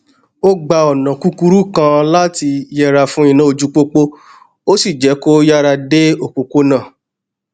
ó gba ònà kúkúrú kan láti yẹra fún iná ojúpópó ó sì jé kó yára dé òpópónà